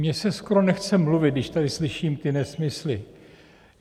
Mně se skoro nechce mluvit, když tady slyším ty nesmysly.